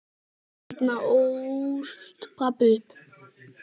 Þarna ólst pabbi upp.